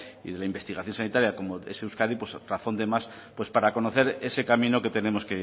y de la investigación sanitaria como es euskadi pues razón de más para conocer ese camino que tenemos